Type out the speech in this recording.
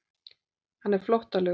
Hann er flóttalegur.